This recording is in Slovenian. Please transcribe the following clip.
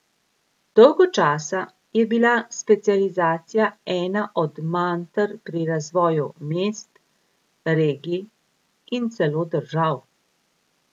Dolgo časa je bila specializacija ena od manter pri razvoju mest, regij in celo držav.